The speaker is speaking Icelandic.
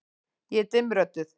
Ég er dimmrödduð.